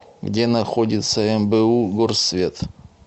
где находится мбу горсвет